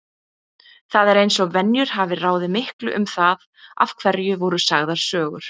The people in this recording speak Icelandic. Það er eins og venjur hafi ráðið miklu um það af hverju voru sagðar sögur.